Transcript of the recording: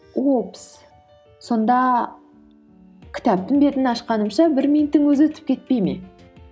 упс сонда кітаптың бетін ашқанымша бір минуттың өзі өтіп кетпей ме